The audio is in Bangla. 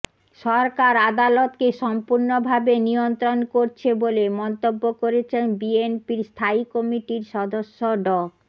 সরকার আদালতকে সম্পূর্ণভাবে নিয়ন্ত্রণ করছে বলে মন্তব্য করেছেন বিএনপির স্থায়ী কমিটির সদস্য ড